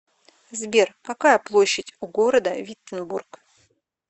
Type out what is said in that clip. сбер какая площадь у города виттенбург